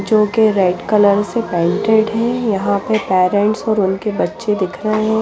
जो की red colour से पेंटेड है यहाँ पर पेरेंट्स और उनके बच्चे दिख रहे है।